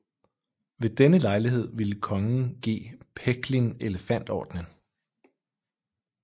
Ved denne lejlighed ville kongen give Pechlin Elefantordenen